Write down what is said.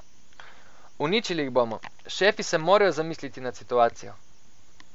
Uničili jih bomo, šefi se morajo zamisliti nad situacijo.